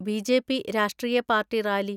BJP. രാഷ്ട്രീയ party rally.